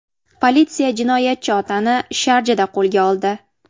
Politsiya jinoyatchi otani Sharjada qo‘lga oldi.